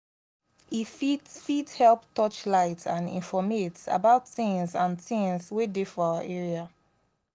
e fit fit help touchlight and informate about things and things wey dey for our area